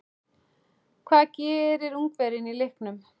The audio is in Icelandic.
Hvað gerir Ungverjinn í leiknum?